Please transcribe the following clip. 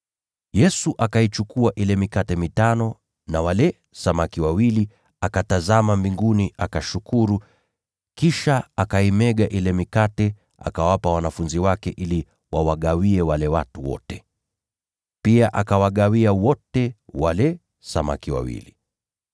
Yesu akaichukua ile mikate mitano na wale samaki wawili, akainua macho yake akatazama mbinguni, akavibariki na kuimega ile mikate. Kisha akawapa wanafunzi wake ili wawagawie wale watu wote. Pia akawagawia wote wale samaki wawili.